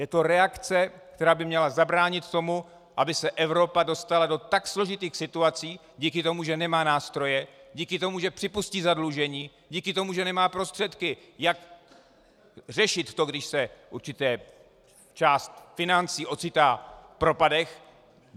Je to reakce, která by měla zabránit tomu, aby se Evropa dostala do tak složitých situací díky tomu, že nemá nástroje, díky tomu, že připustí zadlužení, díky tomu, že nemá prostředky, jak řešit to, když se určitá část financí ocitá v propadech.